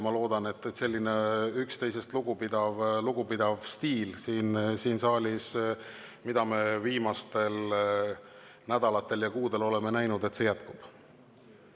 Ma loodan, et selline üksteisest lugupidav stiil, mida me siin saalis viimastel nädalatel ja kuudel oleme näinud, jätkub.